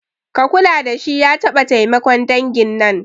Ka kula dashi ya taɓa taimakon dangin nan